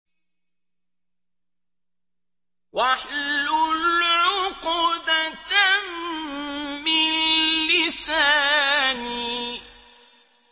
وَاحْلُلْ عُقْدَةً مِّن لِّسَانِي